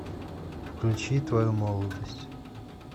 включи твою молодость